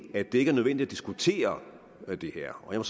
at det ikke er nødvendigt at diskutere det her og jeg